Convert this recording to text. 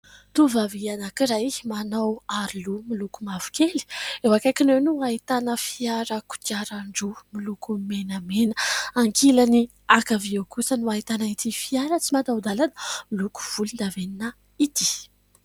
Tovovavy anankiray manao aroloha miloko mavokely, eo akaikiny eo no ahitana fiara kodiaran-droa miloko menamena, ankilany ankavia eo kosa no ahitana ity fiara tsy mataho-dàlana miloko volondavenona ity.